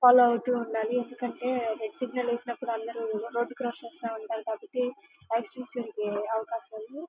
follow అవుతూ ఉండాలి ఎందుకంటే రెడ్ సిగ్నల్ వేసినపుడు అందరూ రోడ్ క్రాస్ చేస్తా ఉంటారు కాబట్టి అలాకాశాలు--